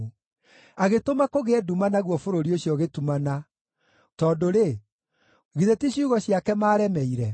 Agĩtũma kũgĩe nduma naguo bũrũri ũcio ũgĩtumana, tondũ-rĩ, githĩ ti ciugo ciake maaremeire?